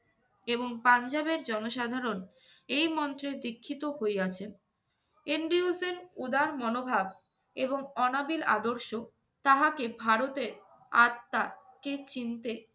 এবং পাঞ্জাবের জনসাধারণ এই মন্ত্রে দীক্ষিত হইয়াছে। এন্ড্রিউলফের উদার মনোভাব এবং অনাবিল আদর্শ তাহাকে ভারতের আত্মা কে চিনতে